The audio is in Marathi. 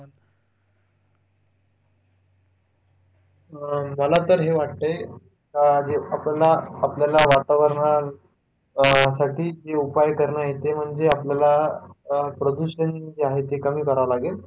मला तर हे वाटतंय का जे आपल्याला आपल्याला वातावरणासाठी जे उपाय करणं ते म्हणजे आपल्याला प्रदूषण जे आहे ते कमी करावं लागेल